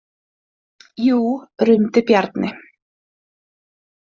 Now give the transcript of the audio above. Jú, rumdi Bjarni.